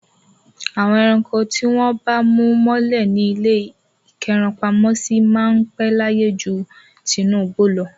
Àwọn ẹranko tí wọ́n bá mú mọ́lẹ̀ ní ilé ìkẹ́rankopamọ́sí máa ń pẹ́ láyé ju àwọn tinú igbó lọ.